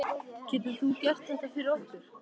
Getur þú gert þetta fyrir okkur?